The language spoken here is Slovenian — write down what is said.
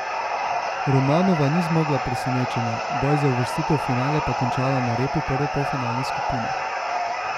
Romanova ni zmogla presenečenja, boj za uvrstitev v finale pa končala na repu prve polfinalne skupine.